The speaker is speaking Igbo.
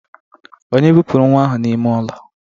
Onye bupuru nwa ahu n'ime ulo?